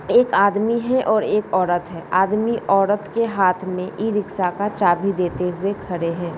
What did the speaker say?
एक आदमी है और एक औरत है। आदमी औरत के हाथ में ई रिक्शा का चाबी देते हुए खरे है।